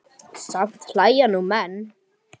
Samt hlæja nú menn.